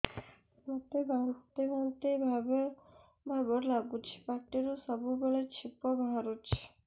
ମୋତେ ବାନ୍ତି ବାନ୍ତି ଭାବ ଲାଗୁଚି ପାଟିରୁ ସବୁ ବେଳେ ଛିପ ବାହାରୁଛି